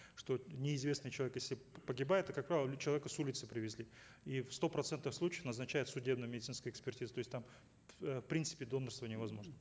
что неизвестный человек если погибает то как правило человека с улицы привезли и в ста процентах случаев назначают судебно медицинскую экспертизу то есть там э в принципе донороство невозможно